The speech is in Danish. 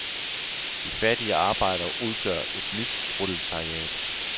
De fattige arbejdere udgør et nyt proletariat.